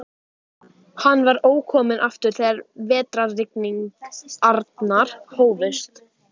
Hann var ókominn aftur þegar vetrarrigningarnar hófust.